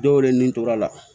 Dɔw yɛrɛ nin tor'a la